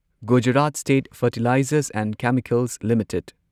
Gujarat state fertilizers and chemicals limited